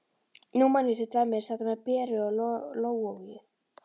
Nú man ég til dæmis þetta með Beru og lógóið.